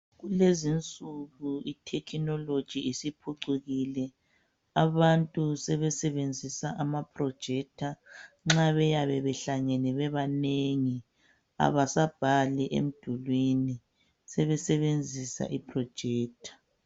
Kulezinsuku itechnology isiphucukile abantu sebesebenzisa ama projector nxa beyabe behlangene bebanengi abasabhali emdulwini sebesebenzisa iprojector.